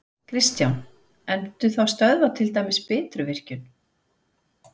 Kristján: En muntu þá stöðva til dæmis Bitruvirkjun?